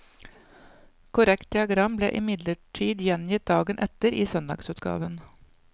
Korrekt diagram ble imidlertid gjengitt dagen etter, i søndagsutgaven.